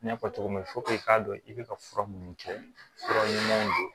N y'a fɔ cogo min na i k'a dɔn i bɛ ka fura minnu kɛ fura ɲumanw don